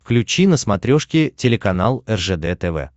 включи на смотрешке телеканал ржд тв